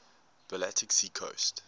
baltic sea coast